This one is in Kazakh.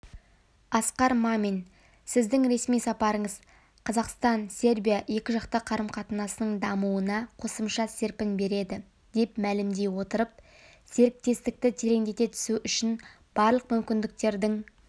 асқар мамин сіздің ресми сапарыңыз қазақстан-сербия екіжақты қарым-қатынасының дамуына қосымша серпін береді деп мәлімдей отырып серіктестікті тереңдете түсу үшін барлық мүмкіндіктердің